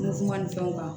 ni fɛnw kan